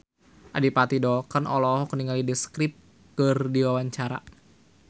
Adipati Dolken olohok ningali The Script keur diwawancara